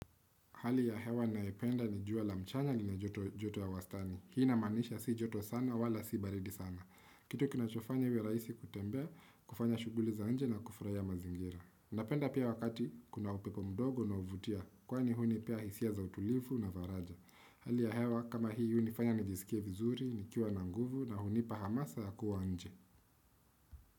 Hali ya hewa nayependa ni jua la mchana lina joto ya wastani. Hii inamaanisha si joto sana wala si baridi sana. Kitu kinachofanya iwe rahisi kutembea, kufanya shughuli za nje na kufurahia mazingira. Napenda pia wakati kuna upepo mdogo na huvutia. Kwani hunipea hisia za utulivu na faraja. Hali ya hewa kama hii hunifanya nijisikie vizuri, nikiwa na nguvu na hunipa hamasa ya kuwa nje.